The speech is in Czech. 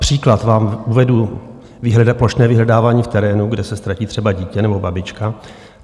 Příklad vám uvedu - plošné vyhledávání v terénu, kde se ztratí třeba dítě nebo babička.